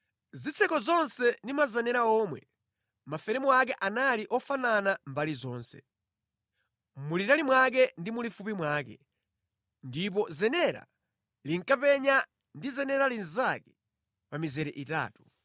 Zitseko zonse ndi mazenera omwe, maferemu ake anali ofanana mbali zonse. Mulitali mwake ndi mulifupi mwake, ndipo zenera linkapenyana ndi zenera linzake pa mizere itatu.